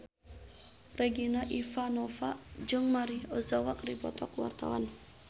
Regina Ivanova jeung Maria Ozawa keur dipoto ku wartawan